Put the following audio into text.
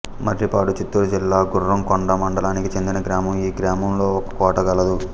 మర్రిపాడు చిత్తూరు జిల్లా గుర్రంకొండ మండలానికి చెందిన గ్రామం ఈ గ్రామంలో ఒక కోట గలదు